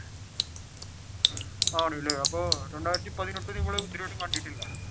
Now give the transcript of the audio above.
ആണല്ലേ അപ്പൊ രണ്ടായിരത്തി പതിനെട്ട് നിങ്ങൾ ഇതുവരെയും കണ്ടിട്ടില്ല.